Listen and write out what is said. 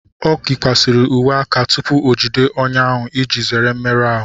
O na eyikwasị uwe aka tupu o jide ọnyà ahụ iji zere mmerụ ahụ